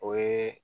O ye